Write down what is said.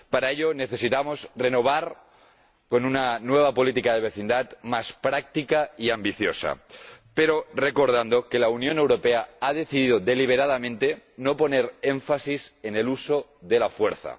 Para ello, necesitamos elaborar una nueva política de vecindad, más práctica y ambiciosa, pero recordando que la Unión Europea ha decidido deliberadamente no poner énfasis en el uso de la fuerza.